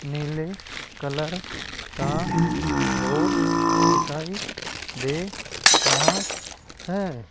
नीले कलर का बोर्ड दिखाई दे रहा है।